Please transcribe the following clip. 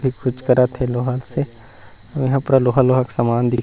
ये कुछ करत हे लोहा से यहाँ पूरा लोहा - लोहा के सामान दिख।